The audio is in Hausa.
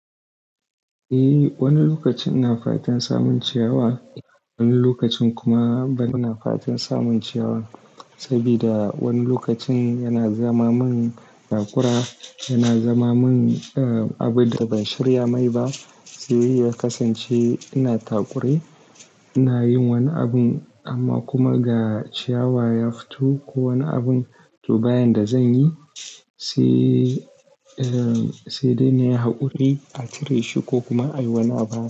Eh, wani lokacin ina fatan samun ciyawa, wani lokacin kuma bana ina fatan samun ciyawa. Saboda wani lokacin yana zama min takura, yana zama min, ah, abin da ban shirya mai ba. Sai ya kasance ina takure, ina yin wani abun amma kuma ga ciyawa ya fito ko wani abin to ba yan da zan yi, sai, eh, sai dai na yi haƙuri a cire shi ko kuma a yi wani abu.